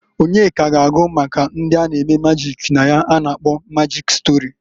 Onyeka ga-agụ maka ndị a na-eme majik na ya a na-akpọ majịk stori.